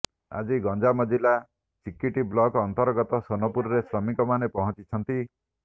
ଆଜି ଗଞ୍ଜାମ ଜିଲ୍ଲା ଚିକିଟି ବ୍ଲକ ଅନ୍ତର୍ଗତ ସୋନପୁରରେ ଶ୍ରମିକମାନେ ପହଞ୍ଚିଛନ୍ତି